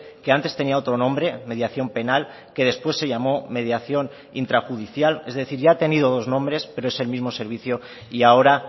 que antes tenía otro nombre mediación penal que después se llamó mediación intrajudicial es decir ya ha tenido dos nombres pero es el mismo servicio y ahora